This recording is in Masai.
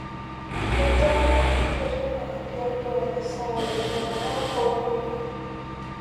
kejaa enkitirring'a tiatwa isaai naara ong'uan